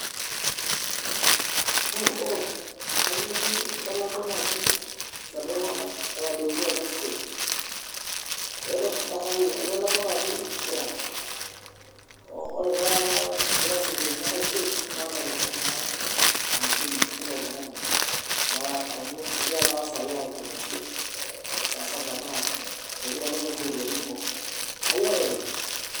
Eh ero kainyioo di italakua naaji laadi tunganak otadoutuo teda siteej . Aitalakua naaji mia, oh ore taa tenakata kigira ashuko mpaka enkae stage naa italaku naa hamisini kila oltungani amu egira naa tenakata saai aaku noshi eh saa saba nimikitalaku oshi iropiyani kumok. Ayia oloibe.